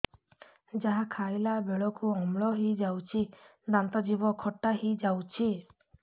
ଯାହା ଖାଇଲା ବେଳକୁ ଅମ୍ଳ ହେଇଯାଉଛି ଦାନ୍ତ ଜିଭ ଖଟା ହେଇଯାଉଛି